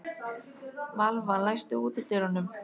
Valva, læstu útidyrunum.